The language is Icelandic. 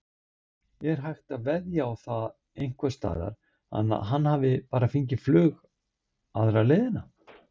Er hægt að veðja á það einhversstaðar að hann hafi bara fengið flug aðra leiðina?